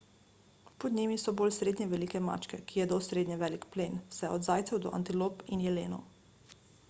pod njimi so bolj srednje velike mačke ki jedo srednje velik plen vse od zajcev do antilop in jelenov